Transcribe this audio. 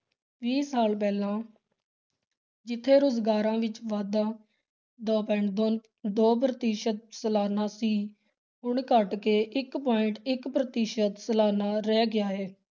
ਵੀਹ ਸਾਲ ਪਹਿਲਾਂ ਜਿੱਥੇ ਰੁਜ਼ਗਾਰਾਂ ਵਿੱਚ ਵਾਧਾਂ ਦੋ point ਦੋ ਦੋ ਪ੍ਰਤੀਸ਼ਤ ਸਲਾਨਾ ਸੀ ਹੁਣ ਘੱਟ ਕੇ ਇੱਕ point ਇੱਕ ਪ੍ਰਤੀਸ਼ਤ ਸਲਾਨਾ ਰਹਿ ਗਿਆ ਹੈ।